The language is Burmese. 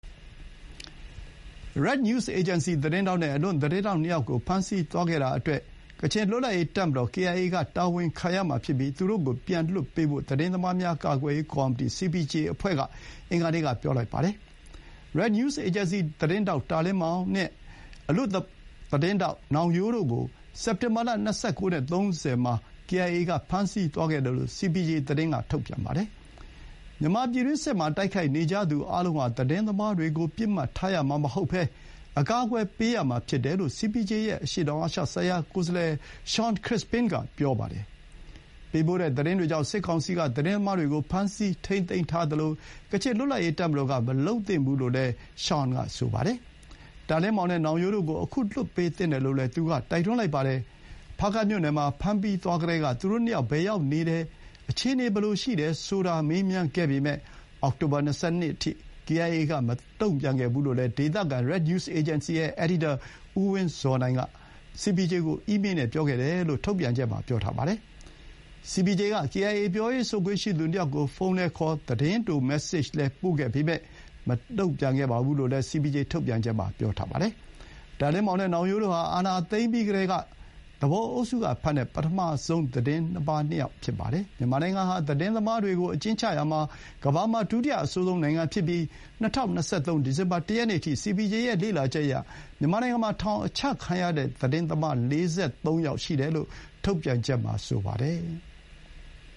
Red News Agency သတင်းထောက်နဲ့ အလွတ်သတင်းထောက် ၂ ယောက်ကို ဖမ်းဆီးသွားခဲ့တာ အတွက် ကချင်လွတ်လပ်ရေး တပ်မတော် ကေအိုင်အေက တာဝန်ခံရမှာဖြစ်ပြီး သူတို့ကို ပြန်လွှတ်ပေးဖို့ သတင်းသမားများ ကာကွယ်ရေး ကော်မီတီ စီပီဂျေအဖွဲ့က အင်္ဂါနေ့က ပြောလိုက်ပါတယ်။ Red News Agency သတင်းထောက် တာလင်းမောင် (Ta Lin Maung) နဲ့ အလွတ်သတင်းထောက် နောင်ရိုးတို့ ကို စက်တင်ဘာလ ၂၉ နဲ့ ၃၀ မှာ ကေအိုင်အေ က ဖမ်းဆီးသွားခဲ့တယ်လို့ စီပီဂျေ က သတင်း ထုတ်ပြန်ပါတယ်။ မြန်မာပြည်တွင်းစစ်မှာ တိုက်ခိုက်နေကြသူ အားလုံးဟာ သတင်းသမားတွေကို ပစ်မှတ်ထားရမှာ မဟုတ်ဘဲ အကာအကွယ်ပေးရမှာ ဖြစ်တယ်လို့ စီပီဂျေ ရဲ့ အရှေ့တောင် အာရှဆိုင်ရာကိုယ်စားလှယ် Shawn Crispin က ပြောပါတယ်။ ပေးပို့တဲ့ သတင်းတွေကြောင့် စစ်ကောင်စီက သတင်းသမားတွေကို ဖမ်းဆီးထိန်းသိမ်းသလို ကချင်လွတ်လပ်ရေး တပ်မတော်က မလုပ်သင့်ဘူးလို့လည်း ရှောင်န် က ဆိုပါတယ်။ တာလင်းမောင်နဲ့ နောင်ရိုးတို့ကို အခု လွှတ်ပေးသင့်တယ်လို့ သူက တိုက်တွန်းလိုက်ပါတယ်။ ဖားကန့်မြို့နယ်မှာ ဖမ်းသွားပြီးကတည်းက သူတို့ နှစ်ယောက် ဘယ်ရောက်နေတယ်၊ အခြေအနေ ဘယ်လိုရှိတယ် ဆိုတာ မေးမြန်းခဲ့ပေမဲ့ အောက်တိုဘာ ၂၂ အထိ ကေအိုင်အေက မတုံ့ပြန်ခဲ့ဘူး လို့ ဒေသခံ Red News Agency ရဲ့ အယ်ဒီတာ ဦး ဝင်းဇော်နိုင်က စီပီဂျေကို အီးမေး နဲ့ ပြောခဲ့တယ်လို့ ထုတ်ပြန်ချက်မှာ ဖော်ပြပါတယ်။ စီပီဂျေက ကေအိုင်အေ ပြောရေးဆိုခွင့် ရှိသူ ၂ ယောက်ကို ဖုန်းလည်းခေါ် သတင်းတို မက်ဆေ့ဂျလည်း ပို့ခဲ့ပေမဲ့ မတုံ့ပြန်ခဲ့ဘူးလို့လည်း စီပီဂျေ ထုတ်ပြန်ချက်မှာ ပြောပါတယ်။ တာလင်းမောင် နဲ့ နောင်ရိုးတို့ဟာ အာဏာသိမ်းပြီး ကတည်းက သူပုန်အုပ်စု က ဖမ်းတဲ့ ပထမဆုံး သတင်းသမား ၂ ယောက် ဖြစ်ကြပါတယ်။ မြန်မာနိုင်ငံဟာ သတင်းသမားတွေကို အကျဥ်းချရာမှာ ကမ္ဘာမှာ ဒုတိယ အဆိုးဆုံး နိုင်ငံဖြစ်ပြီး၊ ၂၀၂၃ ဒီဇင်ဘာ ၁ ရက်နေ့အထိ စီပီဂျေရဲ့ လေ့လာချက်အရ မြန်မာနိုင်ငံမှာ ထောင်အချခံရတဲ့ သတင်းသမား ၄၃ ယောက် ရှိတယ်လို့ ထုတ်ပြန်ချက်မှာ ပြောပါတယ်။